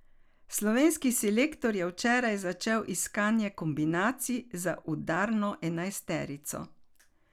Slovenski selektor je včeraj začel iskanje kombinacij za udarno enajsterico.